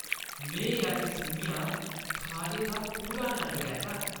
मैं अज्ज सʼञां खाने दा पूरा नंद लैता।